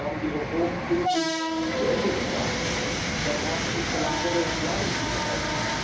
Wir haben die Reform pünktlich zu Ende gebracht. Damit haben unsere Landwirte Planungssicherheit.